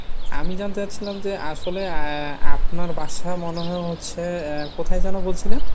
আমি জানতে চাচ্ছিলাম যে আসলে আহ আপনার বাসা মনে হয় হচ্ছে আহ কোথায় যেন বলছিলেন ?